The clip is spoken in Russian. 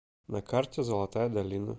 на карте золотая долина